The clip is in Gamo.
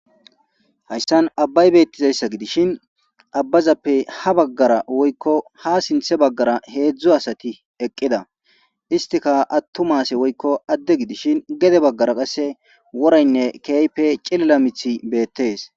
Hayisan abayibetdaysa gidishin abazape habagara woyiko hezu asati eqida isitika atuma woyiko ade gidishin gede bagara worayinee kehipe ciliza mithi betes